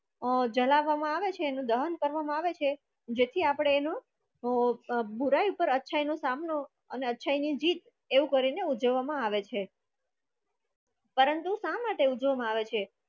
અ જલાવવામાં આવે છે અને દહન કરવા મા આવે છે જેથી આપણે એનું બુરાઈ પર અચ્છાઈ નો સામનો અને અચ્છા ની જીત એવું કરી ઉજવવામાં આવે છે. પરંતુ શા માટે ઉજવવામાં આવે છે?